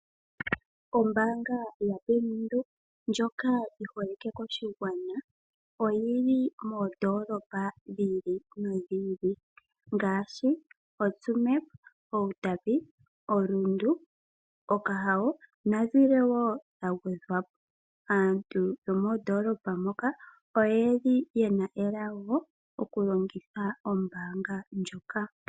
Ombanga yo bank windhoek ndjoka yiholike koshigwana oyili moo ndolopa dhi ili no dhi ili ngaashi otsumeb, outapi, orundu ,okahao nadhimwe woo dha gwe dhwapo. Aantu yo mee ndoolopa ndhoka oyeli yena elago okulongitha ombanga ndjoka.